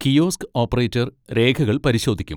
Kiosk operator രേഖകൾ പരിശോധിക്കും.